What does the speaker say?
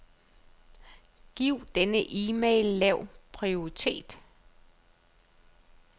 Giv denne e-mail lav prioritet.